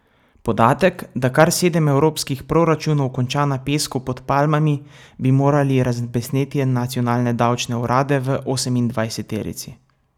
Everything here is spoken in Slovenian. Podatek, da kar sedem evropskih proračunov konča na pesku pod palmami, bi moral razbesneti nacionalne davčne urade v osemindvajseterici.